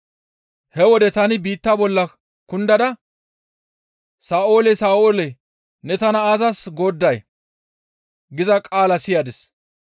He wode tani biitta bolla kundada, ‹Sa7oolee! Sa7oolee! Ne tana aazas goodday?› giza qaala siyadis.